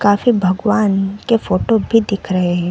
काफी भगवान के फोटो भी दिख रहे है।